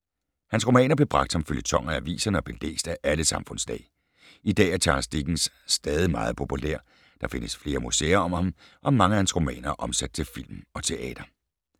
Hans romaner blev bragt som føljetoner i aviserne og blev læst af alle samfundslag. I dag er Charles Dickens stadig meget populær. Der findes flere museer om ham og mange af hans romaner er omsat til film og teater.